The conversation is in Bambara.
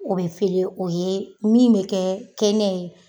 O bɛ fele o ye min bɛ kɛ kɛnɛ ye